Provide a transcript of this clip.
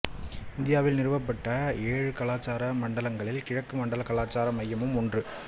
இந்தியாவில் நிறுவப்பட்ட ஏழு கலாச்சார மண்டலங்களில் கிழக்கு மண்டல கலாச்சார மையமும் ஒன்று